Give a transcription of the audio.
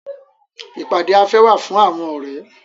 Ìpàdé afẹ́ wà fún àwọn ọ̀rẹ́.